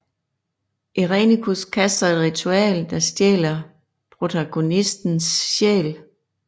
Irenicus kaster et ritual der stjæler protagonistens sjæl